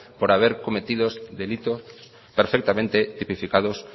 por haber cometido delitos perfectamente tipificados